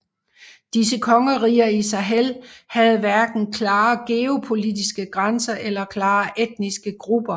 Disse kongeriger i Sahel havde hverken klare geopolitiske grænser eller klare etniske grupper